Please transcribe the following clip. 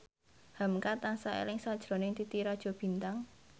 hamka tansah eling sakjroning Titi Rajo Bintang